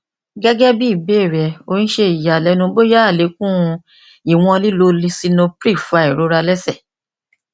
gẹgẹbi ibeere rẹ o n ṣe iyalẹnu boya alekun iwọn lilo lisinopril fa irora ni ẹsẹ